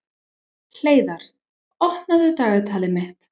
Hleiðar, opnaðu dagatalið mitt.